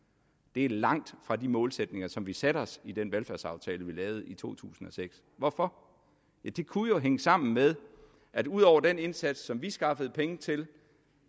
det er langt fra de målsætninger som vi satte os i den velfærdsaftale vi lavede i to tusind og seks hvorfor ja det kunne jo hænge sammen med at udover den indsats som vi skaffede penge til